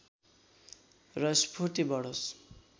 र स्फूर्ति बढोस्